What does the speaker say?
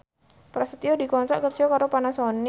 Prasetyo dikontrak kerja karo Panasonic